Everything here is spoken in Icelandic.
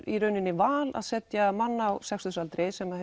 val að setja mann á sextugsaldri sem